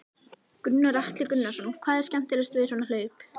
Gunnar Atli Gunnarsson: Hvað er skemmtilegast við svona hlaup?